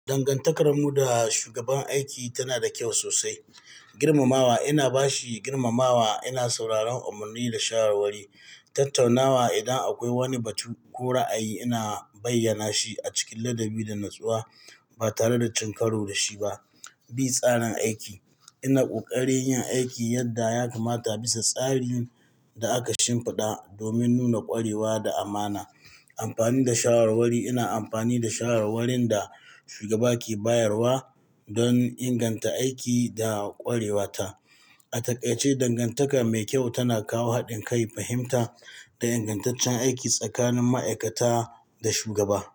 Dangantakarmu da shugaban aiki tana da kyau sosai. Girmamawa, ina ba shi girmamawa, ina sauraron umarni da shawarwari. Tattaunawa, idan akwai wani batu ko ra'ayi, ina bayyana shi a cikin ladabi da natsuwa ba tare da cin karo da shi ba. B tsarin aiki, ina ƙoƙari yin aiki yadda ya kamata bisa tsarin da aka shimfiɗa domin nuna ƙwarewa da amana. Amfani da shawarwari, ina amfani da shawarwarin da shugaba ke bayarwa don inganta aiki da ƙwarewata. A takaice dangantaka mai kyau tana kawo haɗin kai, fahimta da ingantaccen aiki tsakanin ma'aikata da shugaba.